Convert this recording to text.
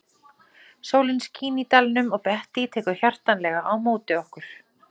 Sólin skín í dalnum og Bettý tekur hjartanlega á móti okkur.